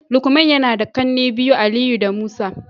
lukman yana da kanne biyu, Aliyu da Musa